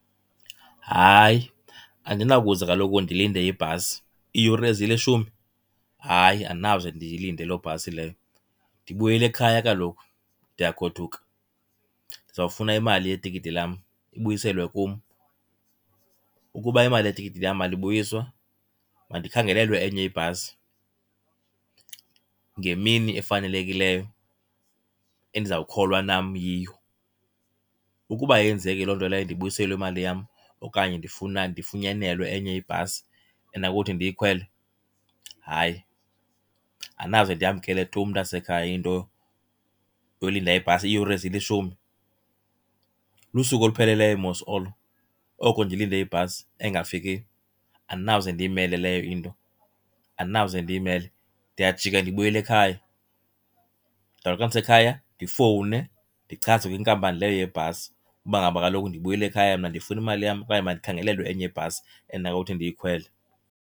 Hayi, andinakuze kaloku ndilinde ibhasi. Iiyure ezilishumi? Hayi, andinakuze ndiyilinde loo bhasi leyo. Ndibuyela ekhaya kaloku, ndiyagoduka. Ndizawufuna imali yetikiti lam ibuyiselwe kum. Ukuba imali yetikiti lam ayibuyiswa, mandikhangelelwe enye ibhasi ngemini efanelekileyo endizawukholwa nam yiyo. Ukuba ayenzeki loo nto leyo ndibuyiselwe imali yam okanye ndifunyanelwe enye ibhasi endinakuthi ndiyikhwele, hayi, andinawuze ndiyamkele tu mntasekhaya into yolinda ibhasi iiyure ezilishumi. Lusuku olupheleleyo mos olo, oko ndilinde ibhasi engafikiyo. Andinawuze ndiyimele leyo into, andinawuze ndiyimele. Ndiyajika ndibuyele ekhaya. Ndizawuthi xa ndisekhaya ndifowune ndichaze kwinkampani leyo yebhasi uba ngaba kaloku ndibuyele ekhaya mna, ndifuna imali yam okanye mandikhangelelwe enye ibhasi endinawuthi ndiyikhwele.